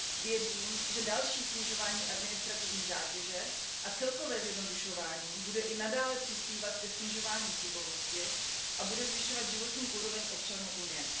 Věřím, že další snižování administrativní zátěže a celkové zjednodušování bude i nadále přispívat ke snižování chybovosti a bude zvyšovat životní úroveň občanů Unie.